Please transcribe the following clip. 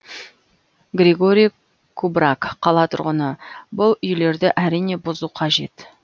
григорий кубраг қала тұрғыны бұл үйлерді әрине бұзу қажет